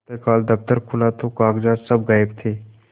प्रातःकाल दफ्तर खुला तो कागजात सब गायब थे